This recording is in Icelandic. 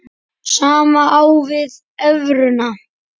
Sama á við um evruna.